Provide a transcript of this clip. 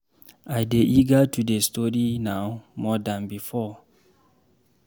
I dey eager to dey study now more dan before.